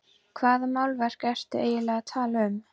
Hvaða málverk ertu eiginlega að tala um?